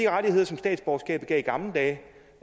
rettigheder som statsborgerskabet gav i gamle dage